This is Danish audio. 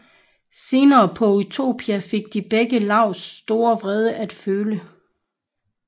Senere på Utopia fik de begge Laus store vrede at føle